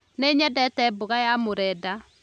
Nĩ nyendete mboga ya mũrenda